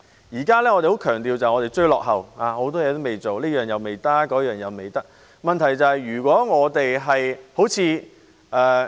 現時我們強調要追落後，很多事情也未做，這樣未辦，那樣未辦；問題是，如果我們好像......